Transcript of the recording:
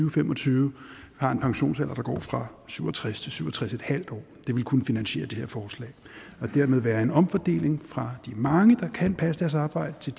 og fem og tyve har en pensionsalder der går fra syv og tres år til syv og tres en halv år det ville kunne finansiere det her forslag og dermed være en omfordeling fra de mange der kan passe deres arbejde til